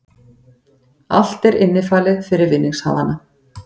Allt er innifalið fyrir vinningshafana